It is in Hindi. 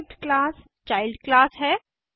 डिराइव्ड क्लास चाइल्ड क्लास है